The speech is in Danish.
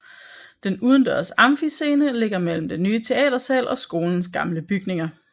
Den udendørs amfiscene ligger mellem den nye teatersal og skolens gamle bygninger